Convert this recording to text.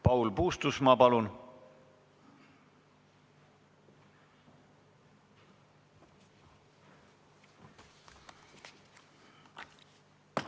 Paul Puustusmaa, palun!